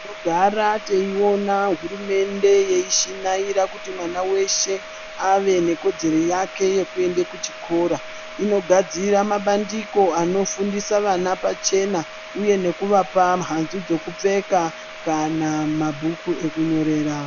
Tinogara teyiwona hurumende yeishinaira kuti mwana weshe ave nekodzero yeke yekuenda kuchikora inogadzira mabandiko anofundisa ana pachena uye nekuvapa mhanzu dzekupfeka kana mabhuku ekunyorera.